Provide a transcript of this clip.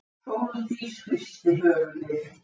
Sóldís hristi höfuðið.